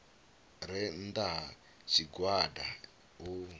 re nnda ha tshigwada u